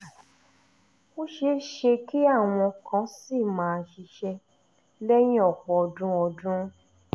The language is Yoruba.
ó ṣe é ṣe kí àwọn kan ṣì máa ṣiṣẹ́ lẹ́yìn ọ̀pọ̀ ọdún ọdún